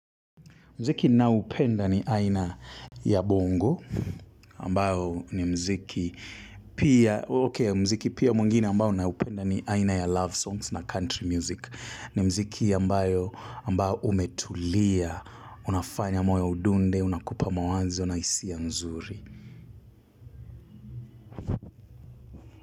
Mziki ninaoupenda ni aina ya bongo, ambayo ni mziki pia, okey mziki pia mwingine ambao naupenda ni aina ya love songs na country music. Ni mziki ambayo ambao umetulia, unafanya moyo udunde, unakupa mawazo, na hisia nzuri.